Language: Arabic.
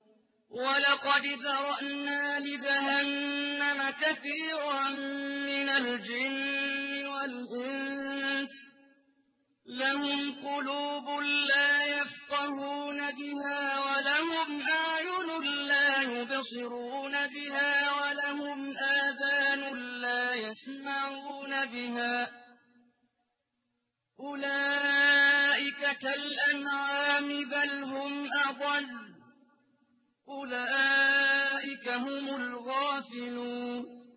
وَلَقَدْ ذَرَأْنَا لِجَهَنَّمَ كَثِيرًا مِّنَ الْجِنِّ وَالْإِنسِ ۖ لَهُمْ قُلُوبٌ لَّا يَفْقَهُونَ بِهَا وَلَهُمْ أَعْيُنٌ لَّا يُبْصِرُونَ بِهَا وَلَهُمْ آذَانٌ لَّا يَسْمَعُونَ بِهَا ۚ أُولَٰئِكَ كَالْأَنْعَامِ بَلْ هُمْ أَضَلُّ ۚ أُولَٰئِكَ هُمُ الْغَافِلُونَ